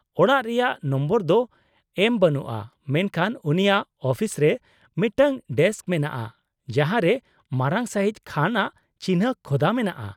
-ᱚᱲᱟᱜ ᱨᱮᱭᱟᱜ ᱱᱚᱢᱵᱚᱨ ᱫᱚ ᱮᱢ ᱵᱟᱹᱱᱩᱜᱼᱟ ᱢᱮᱱᱠᱷᱟᱱ ᱩᱱᱤᱭᱟᱜ ᱟᱹᱯᱤᱥᱨᱮ ᱢᱤᱫᱴᱟᱝ ᱰᱮᱥᱠ ᱢᱮᱱᱟᱜᱼᱟ ᱡᱟᱦᱟᱸ ᱨᱮ ᱢᱟᱨᱟᱝ ᱥᱟᱹᱦᱤᱡ ᱠᱷᱟᱱ ᱟᱜ ᱪᱤᱱᱦᱟᱹ ᱠᱷᱚᱫᱟ ᱢᱮᱱᱟᱜᱼᱟ ᱾